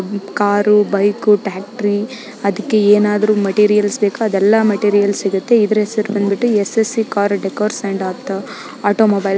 car bike ಟ್ರಾಕ್ಟರಿ ಅದಕ್ಕೆ ಏನಾದರೂ ಮೆಟಿರಿಯಲ್ಸ್‌ ಬೇಕೊ ಅದೆಲ್ಲಾ ಮೆಟಿರಿಯಲ್ಸ್‌ ಸಿಗುತ್ತೆ ಇದರ ಹೆಸರು ಬಂದುಬಿಟ್ಟು ಎಸ್.ಎಸ್.ವಿ.ಕಾರ್‌ ಡೆಕೋರ್ಸ್‌ ಅಂಡ್‌ ಆಟೋಮೊಬೈಲ್ --